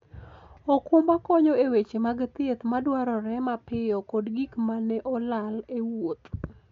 okumba konyo e weche mag thieth madwarore mapiyo kod gik ma ne olal e wuoth.